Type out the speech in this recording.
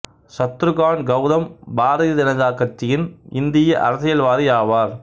சத்ருகான் கவுதம் பாரதிய ஜனதா கட்சியின் இந்திய அரசியல்வாதி ஆவார்